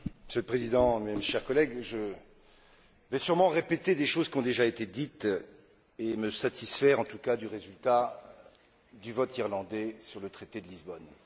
Monsieur le Président, chers collègues, je vais sûrement répéter des choses qui ont déjà été dites et me satisfaire, en tout cas, du résultat du vote irlandais sur le traité de Lisbonne.